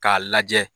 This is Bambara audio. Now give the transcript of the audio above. K'a lajɛ